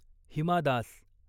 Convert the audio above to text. Hima Das